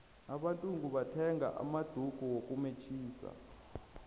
abantungu bathenga namadulu wokumetjhisa